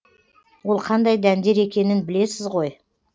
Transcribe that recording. ол қандай дәндер екенін білесіз ғой